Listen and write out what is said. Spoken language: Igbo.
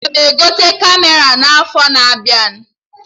Aga m egote Kamera n'afọ na-abịa